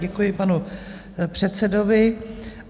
Děkuji panu předsedovi.